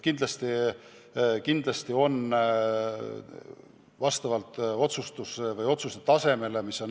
Kindlasti on nii, et oleneb ka otsuse tasemest.